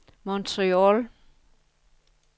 Montreal